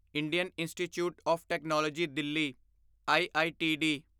Indian Institute of Technology Delhi IITD